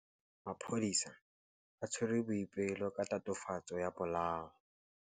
Maphodisa a tshwere Boipelo ka tatofatsô ya polaô.